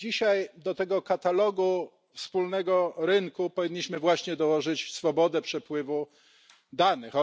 Dzisiaj do tego katalogu wspólnego rynku powinniśmy właśnie dołożyć swobodę przepływu danych.